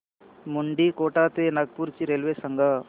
मुंडीकोटा ते नागपूर ची रेल्वे सांगा